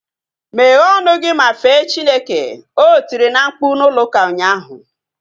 Meghe ọnụ gị ma fee Chineke! O tiri na mkpu n'ụlọ ụka ụnyaahụ